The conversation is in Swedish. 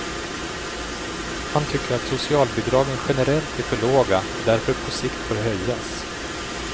Han tycker att socialbidragen generellt är för låga och därför på sikt bör höjas.